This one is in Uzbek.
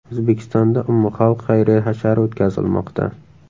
O‘zbekistonda umumxalq xayriya hashari o‘tkazilmoqda.